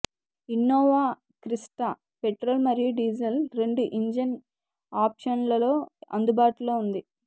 Innova Crysta petrol మరియు diesel రెండు engine ఆప్షన్లలో అందుబాటులో ఉంది